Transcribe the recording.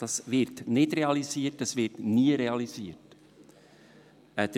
Es wird nicht realisiert, es wird nie realisiert werden.